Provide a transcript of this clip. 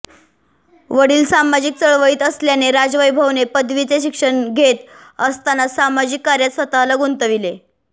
वडील सामाजिक चळवळीत असल्याने राजवैभवने पदवीचे शिक्षण घेत असतानाच सामाजिक कार्यात स्वतःला गुंतविले